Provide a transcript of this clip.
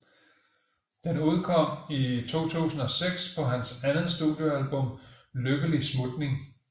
Den udkom i 2006 på hans andet studiealbum Lykkelig smutning